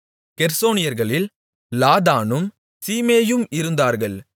கெர்சோனியர்களில் லாதானும் சீமேயும் இருந்தார்கள்